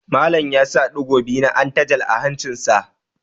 Malam ya saka ɗigo biyu na antalaj a hancinsa.